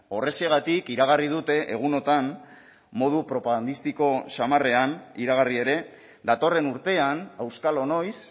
horrexegatik iragarri dute egunotan modu propagandistiko xamarrean iragarri ere datorren urtean auskalo noiz